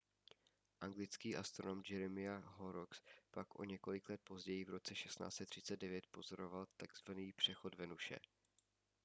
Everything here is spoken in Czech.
anglický astronom jeremiah horrocks pak o několik let později v roce 1639 pozoroval tzv přechod venuše